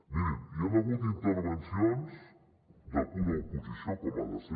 mirin hi han hagut intervencions de pura oposició com ha de ser